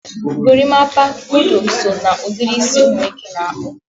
gorimpa, kodo so na ụdịrị ísì umunwoke na akpu